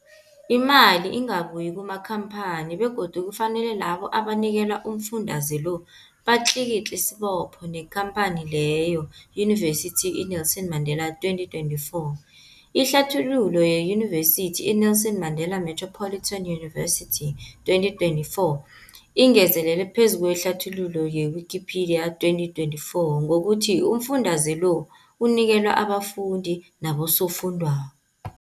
Imali ingabuyi kumakhamphani begodu kufanele labo abanikelwa umfundaze lo batlikitliki isibopho neenkhamphani leyo, Yunivesity i-Nelson Mandela 2024. Ihlathululo yeYunivesithi i-Nelson Mandela Metropolitan University, 2024, ingezelele phezu kwehlathululo ye-Wikipedia, 2024, ngokuthi umfundaze lo unikelwa abafundi nabosofundwakgho.